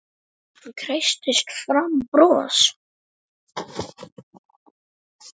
Hann kreisti fram bros.